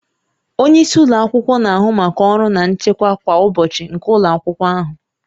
Onye isi ụlọ akwụkwọ na-ahụ maka ọrụ na nchịkwa kwa ụbọchị nke ụlọ akwụkwọ ahụ